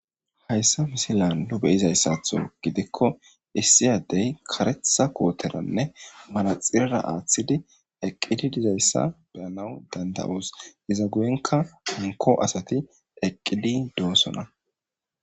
Haysa misilan nu be'izaysatho gidikon issi adey karetha koteranne manaxirera aathidi eqidi dizaysa beyanawu danda'osi,iza guyenka hanko asati eqidi dosona.